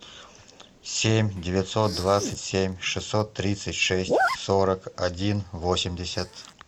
семь девятьсот двадцать семь шестьсот тридцать шесть сорок один восемьдесят